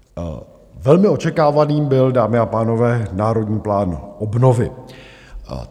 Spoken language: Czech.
Velmi očekávaným byl, dámy a pánové, Národní plán obnovy.